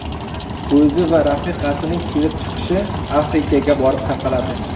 O‘zi va rafiqasining kelib chiqishi Afrikaga borib taqaladi.